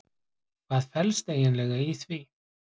Hvað felst eiginlega í því?